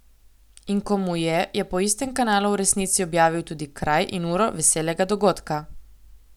In ko mu je, je po istem kanalu v resnici objavil tudi kraj in uro veselega dogodka.